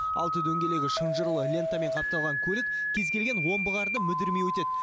алты дөңгелегі шынжырлы лентамен қапталған көлік кез келген омбы қарды мүдірмей өтеді